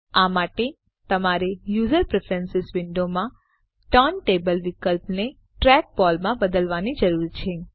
આ માટે તમારે યુઝર પ્રેફરન્સ વિન્ડોમાં ટર્ન ટેબલ વિકલ્પને ટ્રેકબોલ માં બદલવાની જરૂર છે